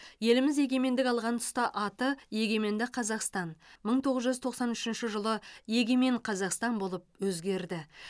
еліміз егемендік алған тұста аты егеменді қазақстан мың тоғыз жүз тоқсан үшінші жылы егемен қазақстан болып өзгерді